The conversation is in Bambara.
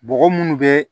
Bɔgɔ munnu be